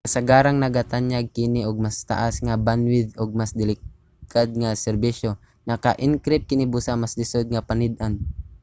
kasagaran nagatanyag kini og mas taas nga bandwidth ug mas dekalidad nga serbisyo. naka-encrypt kini busa mas lisod nga panid-an